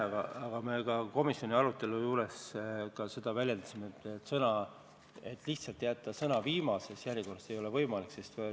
Me väljendasime seda ka komisjonis peetud arutelus, et ei ole võimalik jätta lihtsalt sõnu "viimases järjekorras".